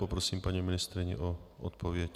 Poprosím paní ministryni o odpověď.